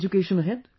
education ahead